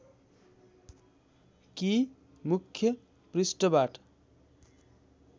कि मुख्य पृष्ठबाट